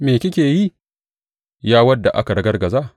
Me kike yi, ya wadda aka ragargaza?